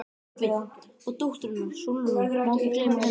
TRYGGVI: Og dóttur hennar, Sólrúnu, ekki má gleyma henni.